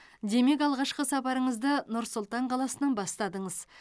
демек алғашқы сапарыңызды нұр сұлтан қаласынан бастадыңыз